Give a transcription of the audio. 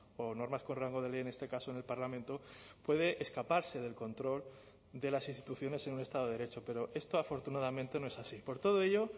o normas con rango de ley en este caso en el parlamento puede escaparse del control de las instituciones en un estado de derecho pero esto afortunadamente no es así por todo ello